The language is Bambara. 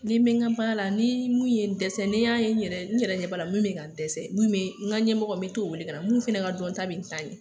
Ni bɛ ka baara la ni mun ye dɛsɛ, ne y'a ye n yɛrɛ n yɛrɛ ɲɛ b'ala min ka dɛsɛ, min bɛ, n'ka ɲɛ mɔgɔ mɛ t'o wele kana mun fɛnɛ ka dɔn ta bɛ n ta ɲɛ.